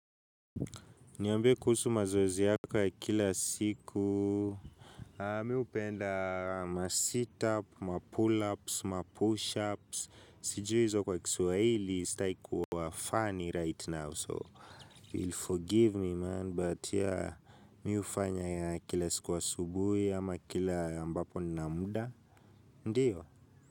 Niambie kuhusu mazoezi yako ya kila siku. Mimi hupenda ma sit-up, ma pull-ups, ma push-ups, sijui hizo kwa kiswahili sitaki kuwa funny right now so you will forgive me man but yeah mimi hufanya kila siku asubuhi ama kila ambapo nina muda ndiyo.